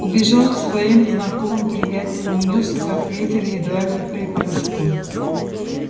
убежал к своим знакомым-приятелям унёсся как ветер едва ли вприпрыжку